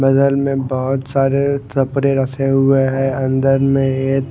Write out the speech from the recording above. बगल में बहोत सारे कपड़े रखे हुए हैं अंदर में ये--